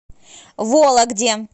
вологде